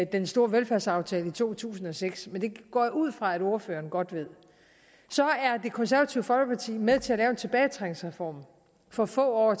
den store velfærdsaftale i to tusind og seks men det går jeg ud fra at ordføreren godt ved så var det konservative folkeparti med til at lave tilbagetrækningsreformen for få